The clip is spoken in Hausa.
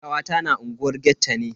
Kawata na unguwar ghetto ne.